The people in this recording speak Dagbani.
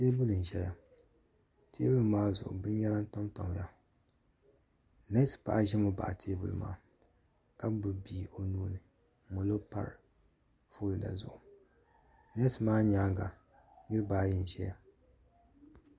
Tɛɛbuli n zɛ ya tɛɛbuli maa zuɣu bini yɛra pa n paya nɛsi paɣa zimi baɣi tɛɛbuli maa ka gbubi bia o nuu ni n mali pari folida zuɣu nɛsi maa yɛanga niriba ayi n zɛya.